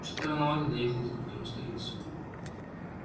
что-то рановато доехал до культурной столицы